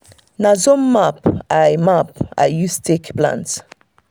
na zone map i map i use take plant.